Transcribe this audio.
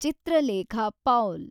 Chitralekha Paul